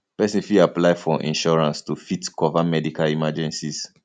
person fit apply for insurance to fit cover medical emergencies